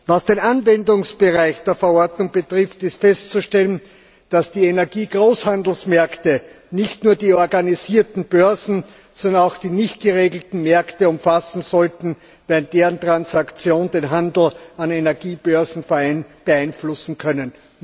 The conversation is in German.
Was den Anwendungsbereich der Verordnung betrifft, ist festzustellen, dass die Energiegroßhandelsmärkte nicht nur die organisierten Börsen, sondern auch die nicht geregelten Märkte umfassen sollten, da deren Transaktionen den Handel an Energiebörsen beeinflussen können.